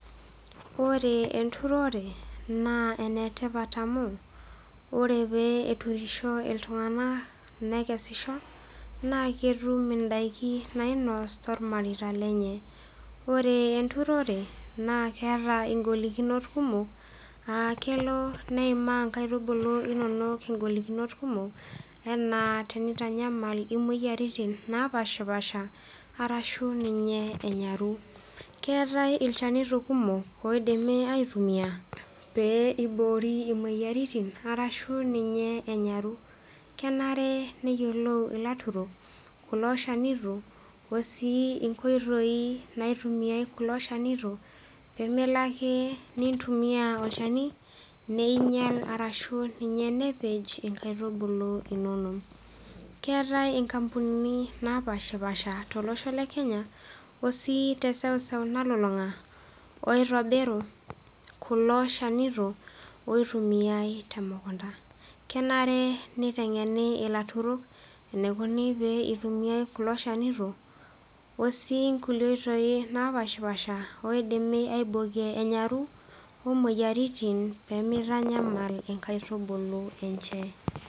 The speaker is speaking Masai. Ore enturore naa ene tipat amu ore pee eturisho iltung'anak nekesisho naake etum indaiki nainos tormareita lenye. Ore enturore naa keeta ing'olikinot kumok aa kelo neimaa inkaitubulu inonok ing'olikinot kumok enaa tenitanyamal imoyiaritin naapaashipaasha arashu ninye enyaru. Keetai ilchanito kumok oidimi aitumia pee iboori imoyiaritin arashu ninye enyaru, kenare neyiolou ilaturok kulo shanito oo sii inkoitoi naitumiai kulo shanito pee melo ake nintumia olchani niinyal arashu ninye nepej inkaitubulu inonok. Keeta inkampunini naapaashipaasha tolosho le Kenya oo sii te seuseu nalulung'a oitobiru kulo shanito oitumiai te mukunda. Kenare niteng'eni ilaturok enikuni pee itumiai kulo shanito oo sii inkulie oitoi napaashipaasha naidimi aibokie enyaru wo moyiaritin pee mitanyamal inkaitubulu enche.